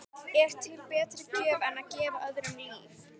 Er til betri gjöf en að gefa öðrum líf?